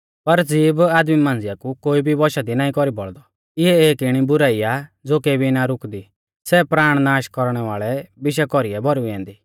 पर ज़ीभ आदमी मांझ़िया कु कोई भी वंशा दी नाईं कौरी बौल़दौ इऐ एक इणी बुराई आ ज़ो केबी ना रुकदी सै प्राण नाष कौरणै वाल़ै विशा कौरीऐ भौरुई ऐन्दी